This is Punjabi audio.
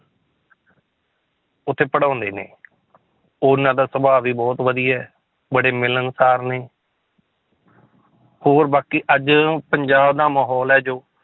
ਉੱਥੇ ਪੜ੍ਹਾਉਂਦੇ ਨੇ ਉਹਨਾਂ ਦਾ ਸੁਭਾਅ ਵੀ ਬਹੁਤ ਵਧੀਆ ਹੈ, ਬੜੇ ਮਿਲਣਸਾਰ ਨੇ ਹੋਰ ਬਾਕੀ ਅੱਜ ਪੰਜਾਬ ਦਾ ਮਾਹੌਲ ਹੈ ਜੋ